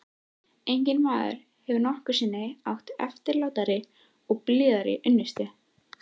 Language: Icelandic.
Enginn maður hefur nokkru sinni átt eftirlátari og blíðari unnustu.